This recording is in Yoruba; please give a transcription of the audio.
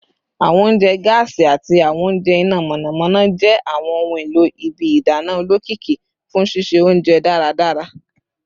Awọn ounjẹ gaasi ati awọn ounjẹ ina mọnamọna jẹ awọn ohun elo ibi idana olokiki fun sise ounjẹ daradara